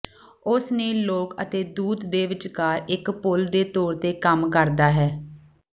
ਉਸ ਨੇ ਲੋਕ ਅਤੇ ਦੂਤ ਦੇ ਵਿਚਕਾਰ ਇਕ ਪੁਲ ਦੇ ਤੌਰ ਤੇ ਕੰਮ ਕਰਦਾ ਹੈ